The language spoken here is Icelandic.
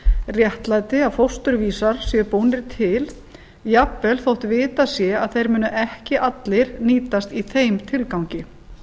réttlæti að fósturvísar séu búnir til jafnvel þótt vitað sé að þeir muni ekki allir nýtast í þeim tilgangi